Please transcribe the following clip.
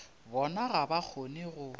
bona ga ba kgone go